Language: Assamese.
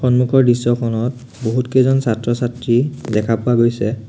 সন্মুখৰ দৃশ্যখনত বহুতকেইজন ছাত্ৰ ছাত্ৰী দেখা পোৱা গৈছে।